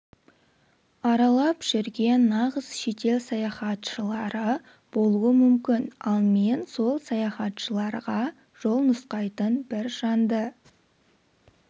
аралап жүрген нағыз шетел саяхатшылары болуы мүмкін ал мен сол саяхатшыларға жол нұсқайтын бір жанды